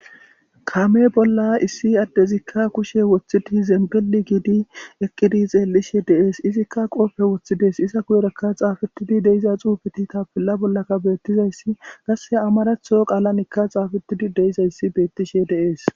kame bolla issi addezikka kushe woththidi zembeli giidi eqqidi xeellishe deees izikka qoofe woththides iza guyorakka xaafetidi deiza xuufeti tapilla bollaka beettizayssi gasse amaratho qaalanikka xaafetidi deyizayssi beettishe deees